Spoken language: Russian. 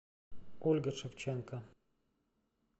ольга шевченко